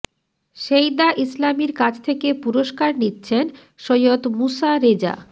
সেইদা ইসলামীর কাছ থেকে পুরস্কার নিচ্ছেন সৈয়দ মূসা রেজা